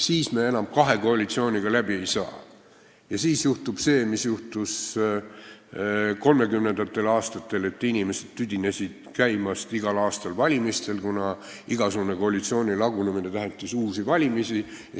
Siis me enam kahe koalitsiooniga läbi ei saa ja siis juhtub see, mis juhtus kolmekümnendatel, kui inimesed tüdinesid igal aastal valimistel käimisest, kuna igasugune koalitsiooni lagunemine tähendas uusi valimisi.